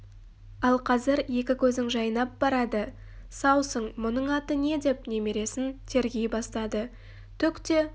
ал қазір екі көзің жайнап барады саусың мұның аты не деп немересін тергей бастады түк те